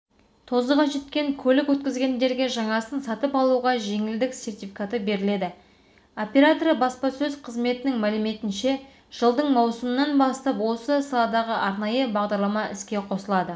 тозығы жеткен көлік өткізгендерге жаңасын сатып алуға жеңілдік сертификаты беріледі операторы баспасөз қызметінің мәліметінше жылдың маусымынан бастап осы саладағы арнайы бағдарлама іске қосылады